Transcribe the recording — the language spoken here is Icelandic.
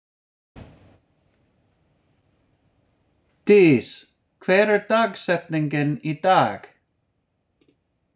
Dís, hver er dagsetningin í dag?